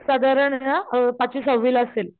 साधारण ना पाचवी सहावी ला असेल.